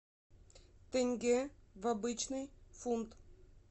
тенге в обычный фунт